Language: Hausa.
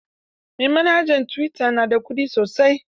Mai manhajar tuwita na da ƙuɗi sosai.